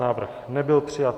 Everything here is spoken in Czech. Návrh nebyl přijat.